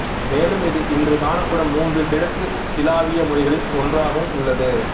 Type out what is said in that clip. மேலும் இது இன்று காணப்படும் மூன்று கிழக்கு சிலாவிய மொழிகளில் ஒன்றாகவும் உள்ளது